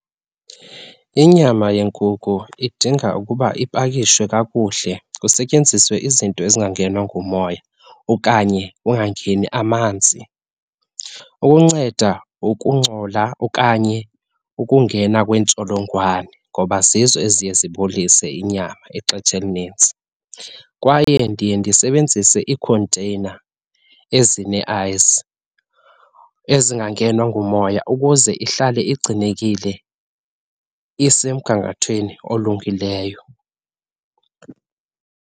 Inyama yenkukhu idinga ukuba ipakishwe kakuhle, kusetyenziswe izinto ezingangenwa ngumoya okanye kungangeni amanzi. Ukunceda ukungcola okanye ukungena kweentsholongwane ngoba zizo eziye zibolise inyama ixetsha elinintsi. Kwaye ndiye ndisebenzise iikhonteyina ezine-ice ezingangenwa ngumoya ukuze ihlale igcinekile, isemgangathweni olungileyo.